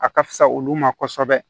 A ka fisa olu ma kosɛbɛ